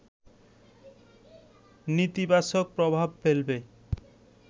নেতিবাচক প্রভাব ফেলবে